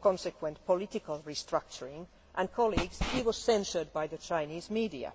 consequent political restructuring and, colleagues, he was censured by the Chinese media.